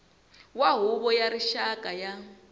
wa huvo ya rixaka ya